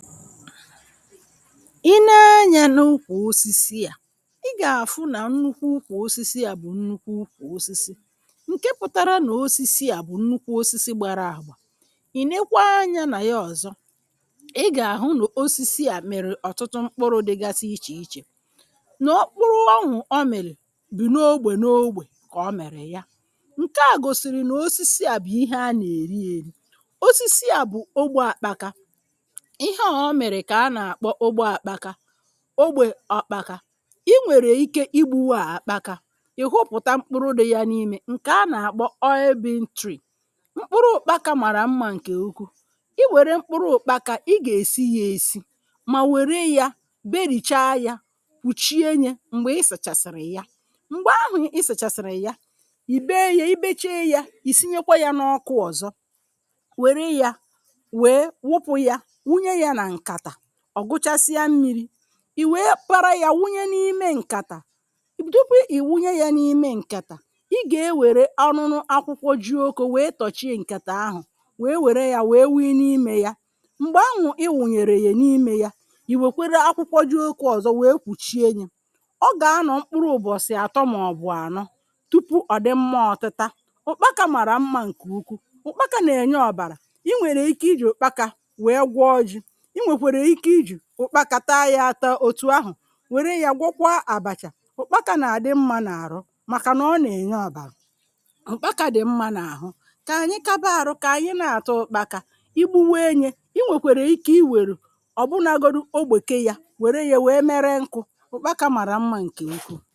i nee anyȧ n’ukwù osisi à i gà-àhụ nà nnukwu ụkwụ osisi à bụ̀ nnukwu ụkwụ osisi ǹke pụtara nà osisi à bụ̀ nnukwu osisi gbara àgbà ìnekwa anyȧ nà ya ọ̀zọ ị gà-àhụ nà osisi à mèrè ọ̀tụtụ mkpụrụ̇ dịgasị ichè ichè nà ọ kpụrụ ọnwụ̀ o mèrè bụ̀ n’ogbè n’ogbè kà o mèrè ya ǹke à gòsìrì nà osisi à bụ̀ ihe a nà-èri èri osisi à bụ̀ ogbè àkpakȧ ogbè ọ̀kpaka i nwèrè ike igbu̇wu̇ à àkpaka ị̀ hụpụ̀ta mkpụrụ dị̇ yȧ n’imė ǹkè anà-àkpọ mkpụrụ ukpaka màrà mmȧ ǹkè ukwu i wère mkpụrụ òkpaka ị gà-èsi yȧ èsi mà wère yȧ berìcha yȧ wùchie nyė m̀gbè isèchàsị̀rị̀ ya m̀gbè ahụ̀ i sèchàsị̀rị̀ ya ì be ye i becheị yȧ ì sinyekwa yȧ n’ọkụ ọ̀zọ wère yȧ ọ̀ gụchasịa mmiri̇ ì wéé para yȧ wunye n’ime ǹkàtà dupụ ì wunye yȧ n’ime ǹkàtà i gà-ewère ọrụnụ akwụkwọ ji oke wèe tọchịa ǹkàtà ahụ̀ wèe wère yȧ wèe wii n’imė yȧ m̀gbè anwụ̀ ị wùnyèrè yè n’imė yȧ ì wèkwere akwụkwọ ji oke ọ̀zọ wèe kpùchie nyė ọ gà-anọ̇ mkpụrụ ụbọ̀sị̀ àtọ màọ̀bụ̀ ànọ tupu ọ̀ dị mmȧ ọ̀tụtȧ ụkpa ka màrà mmȧ ǹkè ukwu ụkpa kà nà-ènye ọ̇bàrà i nwèrè ike ijè òkpa kà wèe gwọọ ji ụkpaka taa ya ata otu ahụ̀ wère ya gwọkwa àbàchà ụkpaka nà-àdị mmȧ n’àrụ màkà nà ọ nà-ènye àbàlụ ụkpaka dị̀ mmȧ n’àhụ kà ànyị kaba àrụ kà ànyị na-àtọ ụkpaka igbu wee nye i nwèkwèrè ike i wèrè ọ̀bụnagodu ogbèke ya wère ya wère mere nkụ ụkpaka màrà mmȧ ǹkè nkụ